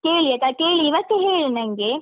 ಕೇಳಿ ಆಯ್ತಾ ಕೇಳಿ ಇವತ್ತೇ ಹೇಳಿ ನಂಗೆ.